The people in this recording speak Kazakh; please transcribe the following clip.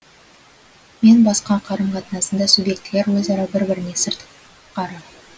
мен басқа қарым қатынасында субъектілер өзара бір біріне сыртқары